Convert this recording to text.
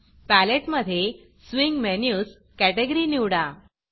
palette मधे swing Menusस्विंग menus category निवडा